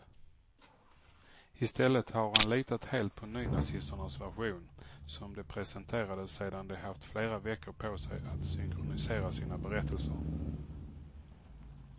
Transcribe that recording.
I stället har han litat helt på nynazisternas version, som de presenterade sedan de haft flera veckor på sig att synkronisera sina berättelser.